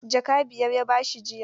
Jaka biyar ya ba shi jiya.